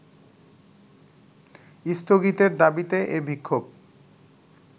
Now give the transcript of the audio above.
স্থগিতের দাবিতে এ বিক্ষোভ